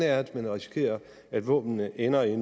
er at man risikerer at våbnene ender i